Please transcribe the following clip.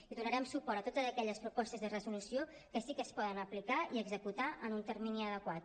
i donarem suport a totes aquelles propostes de resolució que sí que es poden aplicar i executar en un termini adequat